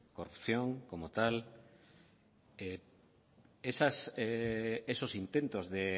corrupción como tal esos intentos de